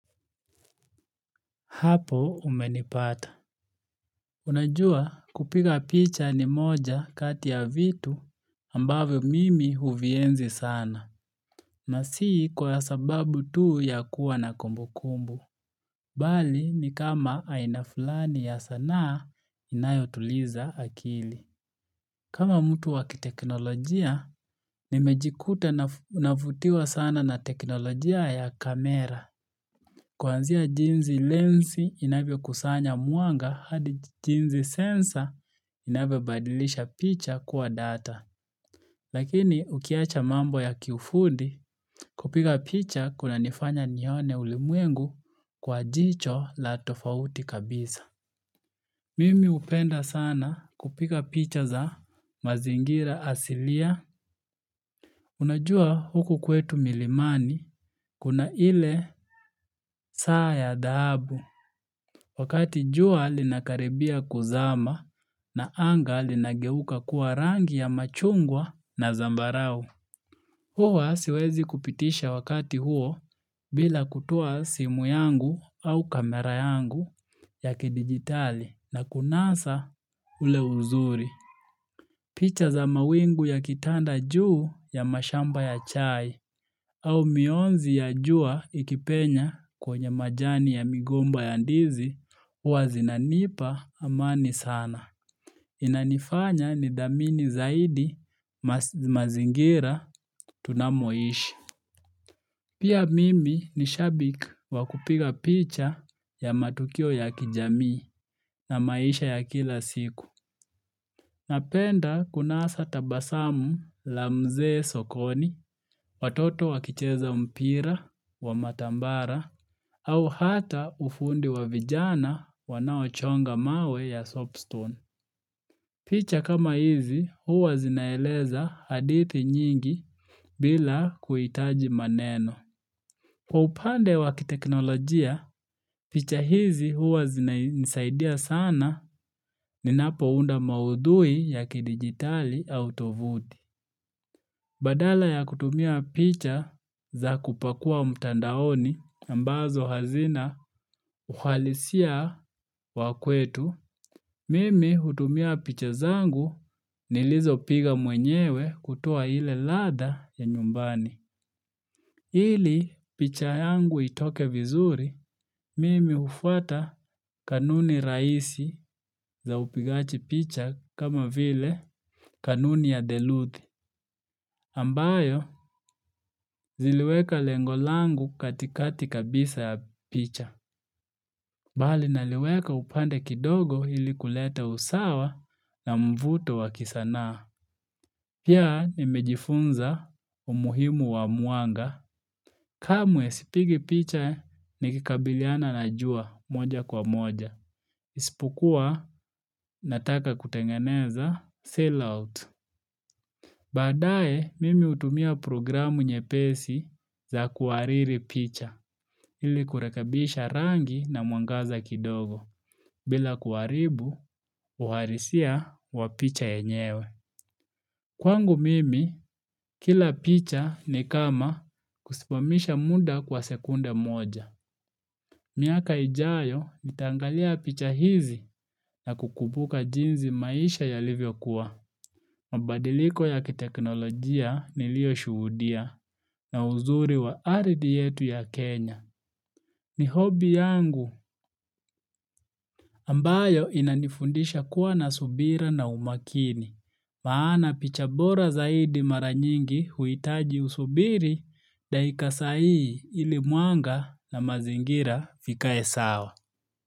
Hapo umenipata. Unajua kupiga picha ni moja kati ya vitu ambavyo mimi huvienzi sana. Na si kwa sababu tuu ya kuwa na kumbukumbu. Bali ni kama aina fulani ya sanaa inayotuliza akili. Kama mtu wakiteknolojia, nimejikuta navutiwa sana na teknolojia ya kamera. Kuanzia jinzi lensi inavyokusanya mwanga hadi jinzi sensa inavyobadilisha picha kuwa data. Lakini ukiacha mambo ya kiufundi kupiga picha kunanifanya nione ulimwengu kwa jicho la tofauti kabisa. Mimi upenda sana kupika picha za mazingira asilia. Unajua huku kwetu milimani kuna ile saa ya dhahabu. Wakati jua linakaribia kuzama na anga linageuka kuwa rangi ya machungwa na zambarau. Huwa siwezi kupitisha wakati huo bila kutoa simu yangu au kamera yangu ya kidigitali na kunasa ule uzuri. Picha za mawingu yakitanda juu ya mashamba ya chai au mionzi ya jua ikipenya kwenye majani ya migomba ya ndizi huwa zinanipa amani sana. Inanifanya nidhamini zaidi mazingira tunamoishi. Pia mimi ni shabik wa kupiga picha ya matukio ya kijamii na maisha ya kila siku. Napenda kunasa tabasamu la mzee sokoni, watoto wakicheza mpira, wa matambara, au hata ufundi wa vijana wanaochonga mawe ya soapstone. Picha kama hizi huwa zinaeleza hadithi nyingi bila kuitaji maneno. Kwa upande wakiteknolojia, picha hizi huwa zinaisaidia sana ninapounda maudhui ya kidigitali au tovudi. Badala ya kutumia picha za kupakua mtandaoni ambazo hazina uhalisia wa kwetu, mimi hutumia picha zangu nilizopiga mwenyewe kutoa ile ladha ya nyumbani. Hili picha yangu itoke vizuri, mimi hufuata kanuni raisi za upigaji picha kama vile kanuni ya Deluthi, ambayo ziliweka lengo langu katikati kabisa ya picha. Bali naliweka upande kidogo hili kuleta usawa na mvuto wa kisanaa. Pia nimejifunza umuhimu wa muanga kamwe sipigi picha nikikabiliana na jua moja kwa moja. Isipokuwa nataka kutengeneza sell out. Baadae mimi hutumia programu nyepesi za kuhariri picha ili kurekabisha rangi na mwangaza kidogo bila kuharibu uharisia wa picha yenyewe. Kwangu mimi, kila picha ni kama kusimamisha muda kwa sekunda moja. Miaka ijayo nitaangalia picha hizi na kukumbuka jinzi maisha yalivyokuwa. Mabadiliko ya kiteknolojia nilioshuhudia na uzuri wa aridhi yetu ya Kenya. Ni hobi yangu ambayo inanifundisha kuwa na subira na umakini. Maana picha bora zaidi mara nyingi huitaji usubiri, dakika sahihi ili mwanga na mazingira vikae sawa.